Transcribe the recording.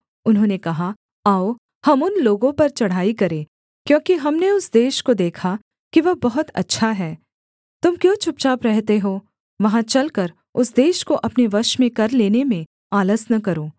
उन्होंने कहा आओ हम उन लोगों पर चढ़ाई करें क्योंकि हमने उस देश को देखा कि वह बहुत अच्छा है तुम क्यों चुपचाप रहते हो वहाँ चलकर उस देश को अपने वश में कर लेने में आलस न करो